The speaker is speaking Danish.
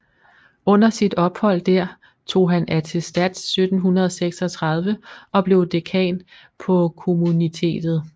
Under sit ophold der tog han attestats 1736 og blev dekan på Kommunitetet